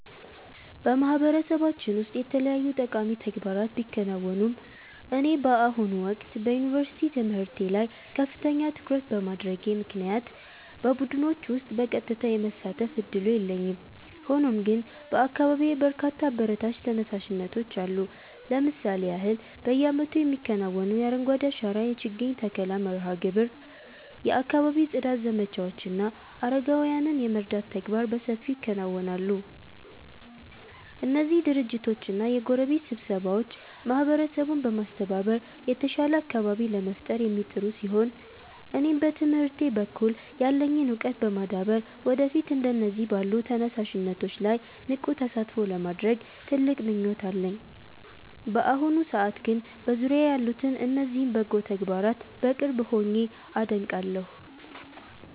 በማህበረሰባችን ውስጥ የተለያዩ ጠቃሚ ተግባራት ቢከናወኑም፣ እኔ በአሁኑ ወቅት በዩኒቨርሲቲ ትምህርቴ ላይ ከፍተኛ ትኩረት በማድረጌ ምክንያት በቡድኖች ውስጥ በቀጥታ የመሳተፍ ዕድሉ የለኝም። ሆኖም ግን በአካባቢዬ በርካታ አበረታች ተነሳሽነቶች አሉ። ለምሳሌ ያህል፣ በየዓመቱ የሚከናወነው የአረንጓዴ አሻራ የችግኝ ተከላ መርሃ ግብር፣ የአካባቢ ጽዳት ዘመቻዎች እና አረጋውያንን የመርዳት ተግባራት በሰፊው ይከናወናሉ። እነዚህ ድርጅቶችና የጎረቤት ስብስቦች ማህበረሰቡን በማስተባበር የተሻለ አካባቢ ለመፍጠር የሚጥሩ ሲሆን፣ እኔም በትምህርቴ በኩል ያለኝን ዕውቀት በማዳበር ወደፊት እንደነዚህ ባሉ ተነሳሽነቶች ላይ ንቁ ተሳትፎ ለማድረግ ትልቅ ምኞት አለኝ። በአሁኑ ሰዓት ግን በዙሪያዬ ያሉትን እነዚህን በጎ ተግባራት በቅርብ ሆኜ አደንቃለሁ።